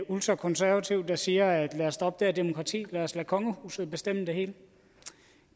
ultrakonservativ der siger at lad os stoppe demokrati lad os lade kongehuset bestemme det hele